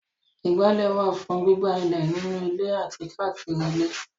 Ìgbálẹ̀ wà fún gbígbá ilẹ̀ nínú ilé àti káàkiri ilé.